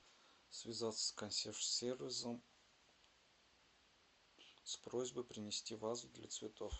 связаться с консьерж сервисом с просьбой принести вазу для цветов